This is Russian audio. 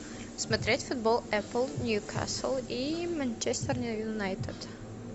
смотреть футбол апл ньюкасл и манчестер юнайтед